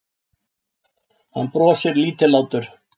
Hann brosir lítillátur.